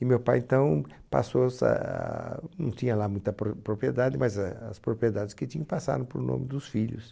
E meu pai então passou essa, não tinha lá muita pro propriedade, mas eh as propriedades que tinha passaram para o nome dos filhos.